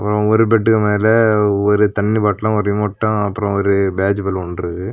ஒரு பெட்டுக்கு மேல ஒரு தண்ணி பாட்டிலும் ஒரு ரிமோட்டும் அப்புறம் ஒரு பேட்ச் பெல்லும் இருக்கு.